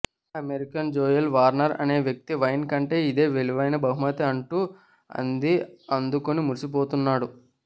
American Joel Warner అనే వ్యక్తి wine కంటే ఇదే విలువైన బహుమతి అంటూ అంది అందుకుని మురిసిపోతున్నాడు